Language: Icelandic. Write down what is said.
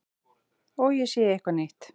Og ég sé eitthvað nýtt.